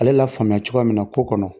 A le lafaamuya cogoya min na ko kɔnɔ